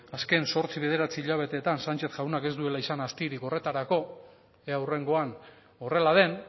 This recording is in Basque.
azken zortzi bederatzi hilabeteen sanchez jaunak ez duela izan aztirik horretarako ea hurrengoan horrela den